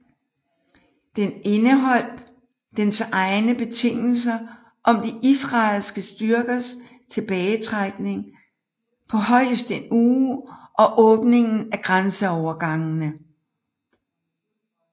Den indeholdt dens egne betingelser om de israelske styrkers tilbagetrækning på højst en uge og åbningen af grænseovergangene